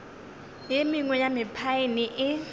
e mengwe ya mephaene e